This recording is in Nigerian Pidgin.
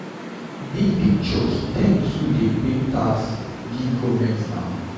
Big big church dem too dey pay tax give government na.